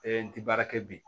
n ti baara kɛ bi